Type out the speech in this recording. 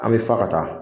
An bɛ fa ka taa